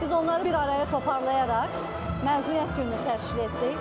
Biz onları bir araya toplayaraq məzuniyyət günü təşkil etdik.